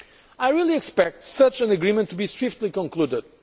I really expect such an agreement to be swiftly concluded.